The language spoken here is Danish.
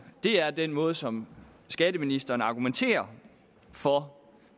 er den måde som skatteministeren argumenterer for